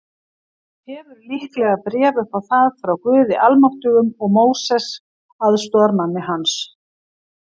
Hefur líklega bréf upp á það frá Guði Almáttugum og Móses, aðstoðarmanni hans.